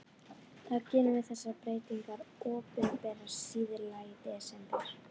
Þá gerum við þessar breytingar opinberar síðla í desember.